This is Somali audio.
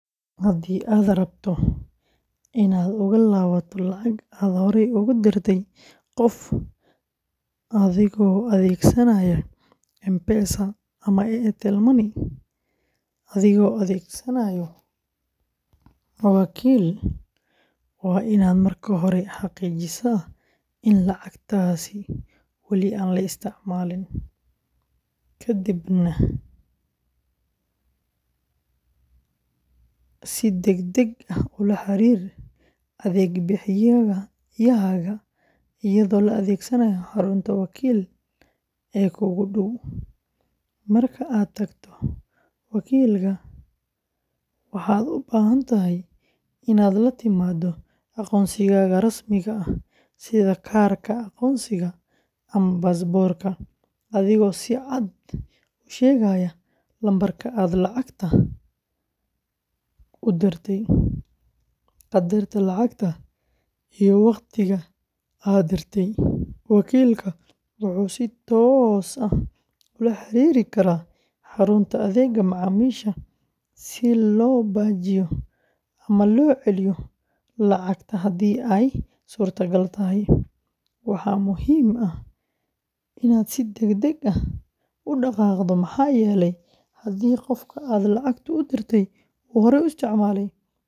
Haddii aad rabto inaad uga laabato lacag aad horey ugu dirtay qof adigoo adeegsanaya M-Pesa and Airtel Money adigoo adeegsanaya wakiil, waa inaad marka hore xaqiijisaa in lacagtaasi wali aan la isticmaalin, kadibna si degdeg ah ula xiriir adeeg bixiyahaaga iyadoo la adeegsanayo xarunta wakiil ee kuugu dhow. Marka aad tagto wakiilka, waxaad u baahan tahay inaad la timaado aqoonsigaaga rasmiga ah sida kaarka aqoonsiga ama baasaboorka, adigoo si cad u sheegaya lambarka aad lacagta u dirtay, qadarka lacagta, iyo waqtiga aad dirtay. Wakiilka wuxuu si toos ah ula xiriiri karaa xarunta adeegga macaamiisha si loo baajiyo ama loo celiyo lacagta haddii ay suurtagal tahay. Waxaa muhiim ah inaad si degdeg ah u dhaqaaqdo maxaa yeelay haddii qofka aad lacagta u dirtay uu horey u isticmaalay.